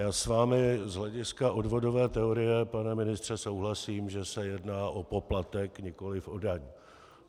Já s vámi z hlediska odvodové teorie, pane ministře, souhlasím, že se jedná o poplatek, nikoliv o daň.